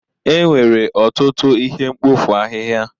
Enwere ọtụtụ ihe mkpofu ahịhịa.